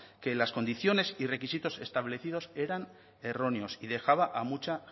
que las condiciones y requisitos establecidos eran erróneos y dejaba a mucha